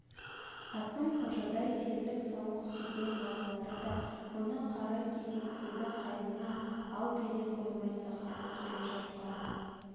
әкім қожадай серлік сауық сүйген балалары да мұны қаракесектегі қайнына әл бере қоймай сақтап келе жатқан